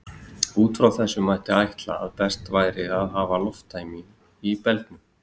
Út frá þessu mætti ætla að best væri að hafa lofttæmi í belgnum.